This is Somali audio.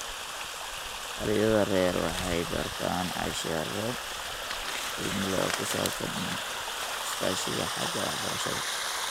Dhallinyarada rer waxay bartaan casharro qiimo leh oo ku saabsan iskaashiga xagga waxbarashada.